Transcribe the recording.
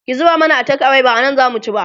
ki zuba mana a take away ba anan zamu ci ba